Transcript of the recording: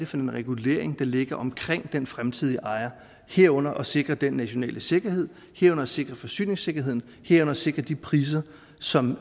for en regulering der ligger omkring den fremtidige ejer herunder at sikre den nationale sikkerhed herunder sikre forsyningssikkerheden herunder sikre de priser som